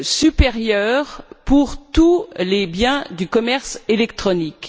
supérieure pour tous les biens du commerce électronique.